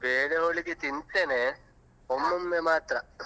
Bele Holige ತಿಂತೇನೆ ಒಮ್ಮೊಮ್ಮೆ ಮಾತ್ರ.